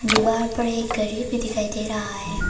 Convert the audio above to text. दीवार पर एक घड़ी भी दिखाई दे रहा है।